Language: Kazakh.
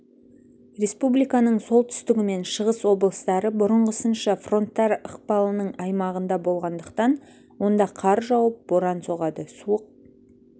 республиканың солтүстігі мен шығыс облыстары бұрыңғысынша фронттар ықпалының аймағында болғандықтан онда қар жауып боран соғады суық